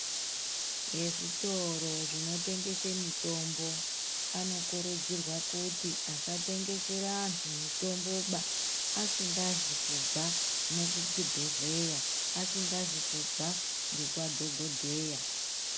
Ezvitoro zvinotengese mitombo, anokurudzirwa kuti, asatengesere antu mitomboba, asingazikubva nekuchibhedhleya, asingazikubva nekwadhokodheya.